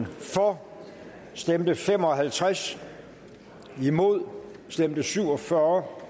for stemte fem og halvtreds imod stemte syv og fyrre